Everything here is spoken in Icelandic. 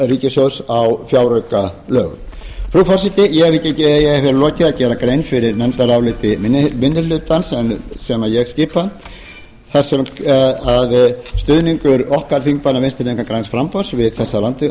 ríkissjóðs í fjáraukalögum frú forseti ég hef lokið að gera grein fyrir nefndaráliti minni hlutans sem ég skipa þar sem stuðningur okkar þingmanna vinstri hreyfingarinnar græns framboðs við þessa